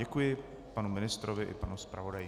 Děkuji panu ministrovi i panu zpravodaji.